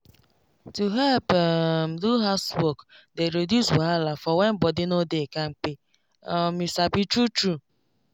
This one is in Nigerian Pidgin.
to help um do housework dey reduce wahala for when body no dey kampe um you sabi true true